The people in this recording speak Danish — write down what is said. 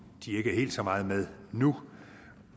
de ikke er helt så meget med nu